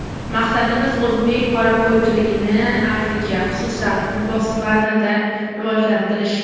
Maqsadimiz, o‘zbek qorako‘lchiligini Afrika, xususan Botsvanada rivojlantirish.